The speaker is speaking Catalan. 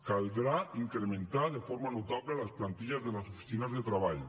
caldrà incrementar de forma notable les plantilles de les oficines de treball